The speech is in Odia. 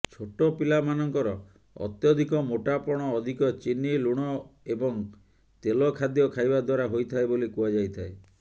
ଛୋଟପିଲାମାନଙ୍କର ଅତ୍ୟଧିକ ମୋଟାପଣ ଅଧିକ ଚିନି ଲୁଣ ଏବଂ ତେଲ ଖାଦ୍ୟ ଖାଇବା ଦ୍ୱାରା ହୋଇଥାଏ ବୋଲି କୁହାଯାଇଥାଏ